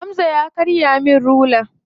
Hamza ya karya min rula.